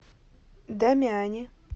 дамиани